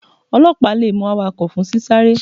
Ọlọpa le mu awakọ fun sí sárè.